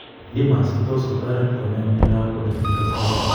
Dmards kotos kotaret konya miondondap oletuitos kawek